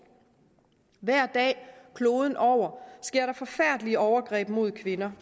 hver dag kloden over sker der forfærdelige overgreb mod kvinder